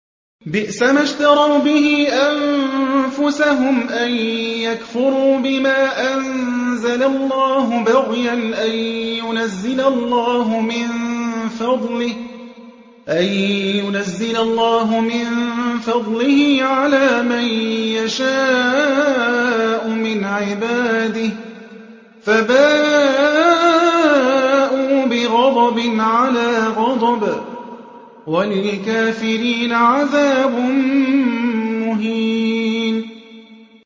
بِئْسَمَا اشْتَرَوْا بِهِ أَنفُسَهُمْ أَن يَكْفُرُوا بِمَا أَنزَلَ اللَّهُ بَغْيًا أَن يُنَزِّلَ اللَّهُ مِن فَضْلِهِ عَلَىٰ مَن يَشَاءُ مِنْ عِبَادِهِ ۖ فَبَاءُوا بِغَضَبٍ عَلَىٰ غَضَبٍ ۚ وَلِلْكَافِرِينَ عَذَابٌ مُّهِينٌ